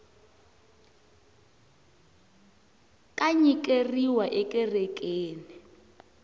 ka nyikeriwa ekerekeni